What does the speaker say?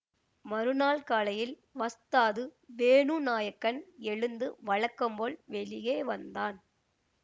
மறுநாள் காலையில் வஸ்தாது வேணுநாயக்கன் எழுந்து வழக்கம்போல் வெளியே வந்தான்